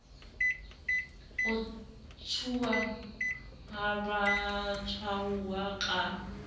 ho ntshuwa ha batshwaruwa ka